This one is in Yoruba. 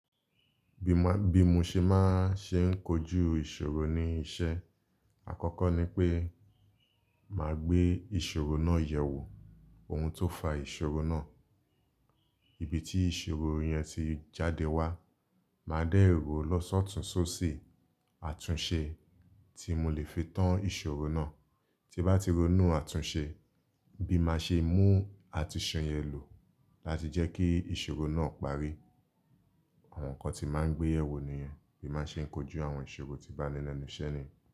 Bí ma, bí mo ṣe máa ṣe ń kojú ìṣòro ní iṣẹ́ àkọ́kọ́ ni pé màá gbé ìṣòro náà yẹ̀wò ohun tó fa ìṣòro náà. Ibi tí ìṣòro yẹn ti jáde wá, màá dẹ ró lọ́sọ̀túnṣọ̀sì àtúnṣe tí mo lè fi tán ìṣòro náà. Tí bá ti ronú àtúnṣe bí máa ṣe mú àtúnṣe yẹn lò láti jẹ́ kí ìṣòro náà parí. Àwọn nǹkan tí màá ń gbé yẹ̀wò nìyẹn bí ma ṣe ń kojú àwọn ìṣòro tí bá ní lẹ́nu iṣẹ́ mi.